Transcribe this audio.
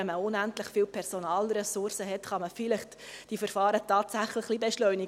Wenn man unendlich viele Personalressourcen hat, kann man die Verfahren vielleicht tatsächlich beschleunigen.